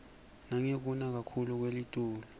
nangekuna kakhuclu kwelitulu